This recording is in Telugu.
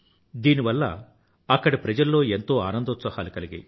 దీని వల్ల అక్కడి ప్రజల్లో ఎంతో ఆనందోత్సాహాలు కలిగాయి